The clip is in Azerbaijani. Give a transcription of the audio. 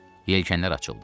Yelkənlər açıldı